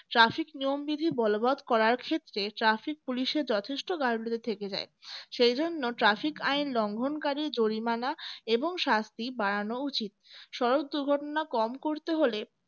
trafic নিয়মবিধি বলবৎ করার ক্ষেত্রে traffic police এর যথেষ্ট . থেকে যাই সেই জন্য traffic আইন লঙ্ঘনকারী জরিমানা এবং শাস্তি বাড়ানো উচিত সড়ক দুর্ঘটনা কম করতে হলে